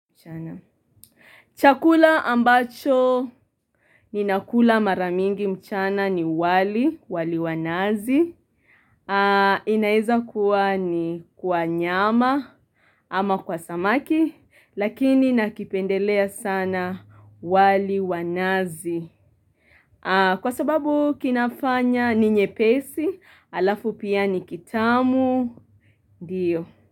Chakula ambacho ninakula mara mingi mchana ni wali, wali wa nazi, inaeza kuwa ni kwa nyama ama kwa samaki, lakini nakipendelea sana wali wa nazi. Kwa sababu kinafanya ni nyepesi, alafu pia ni kitamu, ndiyo.